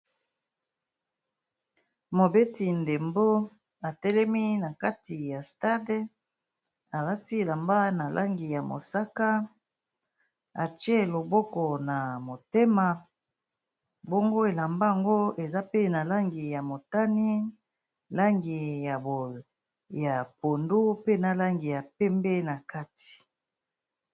Mobeti ndembo atelemi na kati ya stade alati elamba na langi ya mosaka, atie loboko na motema. Bongo elamba yango eza pe na langi ya motani, langi ya pondu, pe na langi ya pembe na kati.